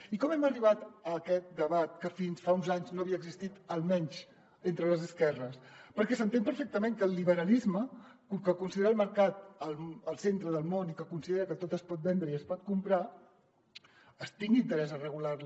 i com hem arribat a aquest debat que fins fa uns anys no havia existit almenys entre les esquerres perquè s’entén perfectament que el liberalisme que considera el mercat el centre del món i que considera que tot es pot vendre i es pot comprar tingui interès a regular la